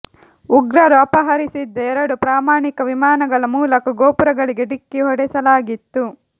ಉಗ್ರರು ಅಪಹರಿಸಿದ್ದ ಎರಡು ಪ್ರಯಾಣಿಕ ವಿಮಾನಗಳ ಮೂಲಕ ಗೋಪುರಗಳಿಗೆ ಡಿಕ್ಕಿ ಹೊಡೆಸಲಾಗಿತ್ತು